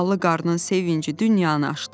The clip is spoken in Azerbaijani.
Ballı qarının sevinci dünyanı aşdı.